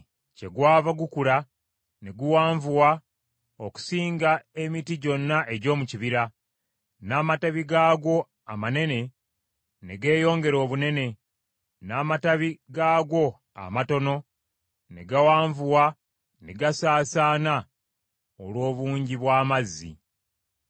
Kyegwava gukula ne guwanvuwa okusinga emiti gyonna egy’omu kibira, n’amatabi gaagwo amanene ne geeyongera obunene, n’amatabi gaagwo amatono ne gawanvuwa ne gasaasaana olw’obungi bw’amazzi.